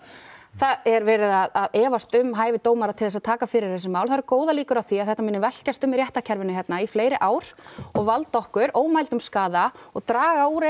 það er verið að efast um hæfi dómara til að taka fyrir þessi mál það eru góðar líkur á því að þetta muni velkjast um í réttarkerfinu hérna í fleiri fleiri ár og valda okkur ómældum skaða og draga úr